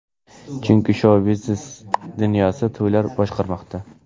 Chunki, shou-biznes dunyosini to‘ylar boshqarmoqda!